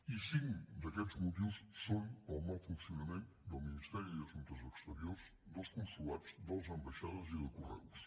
i cinc d’aquests motius són pel mal funcionament del ministeri d’assumptes exteriors dels consolats de les ambaixades i de correus